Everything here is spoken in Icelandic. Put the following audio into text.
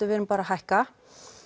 við erum bara að hækka